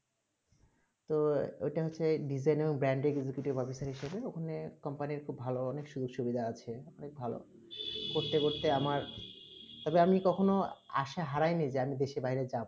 তো এটা হচ্ছে design band executive officer ওখানে company খুব ভালো অনেক সুযোগ-সুবিধা আছে অনেক ভালো করতে করতে আমার তবে কখনো আশা হারায় নেই যে আমি দেশের বাইরে যাব